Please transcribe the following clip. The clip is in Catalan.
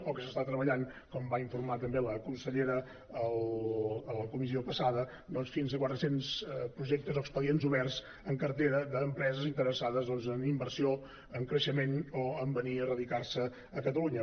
o que s’està treballant com va informar també la consellera a la comissió passada fins a quatre cents projectes o expedients oberts en cartera d’empreses interessades doncs en inversió en creixement o en venir a radicar se a catalunya